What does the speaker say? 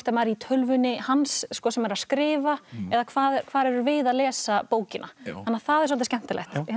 í tölvunni hans sem er að skrifa eða hvar hvar erum við að lesa bókina þannig að það er svolítið skemmtilegt